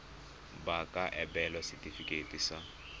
ba ka abelwa setefikeiti sa